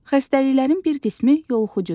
Xəstəliklərin bir qismi yoluxucudur.